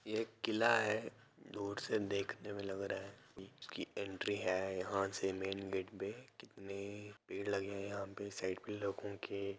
ये एक किला है दूर से देखने मे लग रहा है कि उसकी एंट्री है यहा से मेन गेट पे कितनी भीड़ लगी हैयहाँ पे साइड मे लोगों की।